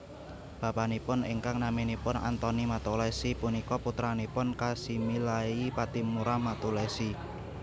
Bapanipun ingkang naminipun Antoni Mattulessy punika putranipun Kasimiliali Pattimura Mattulessy